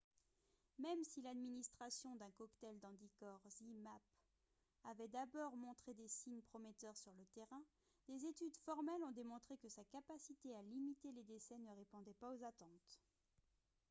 même si l'administration d'un cocktail d'anticorps zmapp avait d'abord montré des signes prometteurs sur le terrain des études formelles ont démontré que sa capacité à limiter les décès ne répondait pas aux attentes